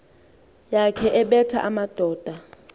yakhe ebetha amadoda